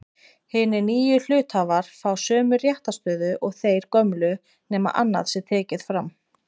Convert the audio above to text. Hinir nýju hluthafar fá sömu réttarstöðu og þeir gömlu nema annað sé tekið fram.